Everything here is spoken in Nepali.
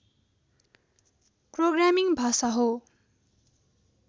प्रोग्रामिङ्ग भाषा हो